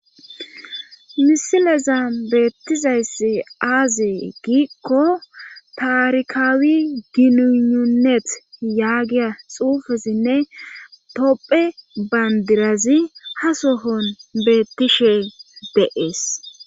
misileza beettizayss aazee giikko taarkaawi ginununet yaagiya xuufesinne topphe bandirazi ha sohon beettishe deees